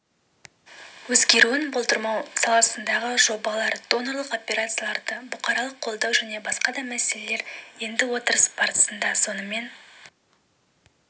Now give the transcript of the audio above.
өзгеруін болдырмау саласындағы жобалар донорлық операцияларды бұқаралық қолдау және басқада мәселелер енді отырыс барысында сонымен